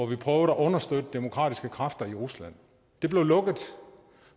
vi prøvede at understøtte demokratiske kræfter i rusland det blev lukket